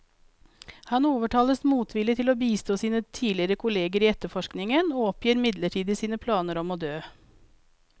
Han overtales motvillig til å bistå sine tidligere kolleger i etterforskningen, og oppgir midlertidig sine planer om å dø.